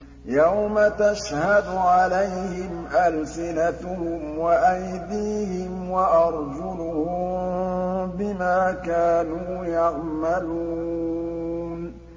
يَوْمَ تَشْهَدُ عَلَيْهِمْ أَلْسِنَتُهُمْ وَأَيْدِيهِمْ وَأَرْجُلُهُم بِمَا كَانُوا يَعْمَلُونَ